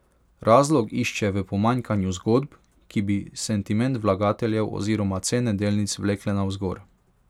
Razlog išče v pomanjkanju zgodb, ki bi sentiment vlagateljev oziroma cene delnic vlekle navzgor.